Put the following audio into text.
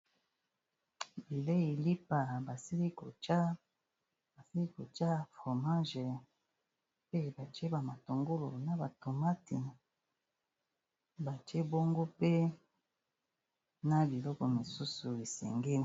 Bileyi lipa basili ko tsha fromage, pe batie ba matungulu, na ba tomati, batie bongo pe na biloko mosusu esengeli.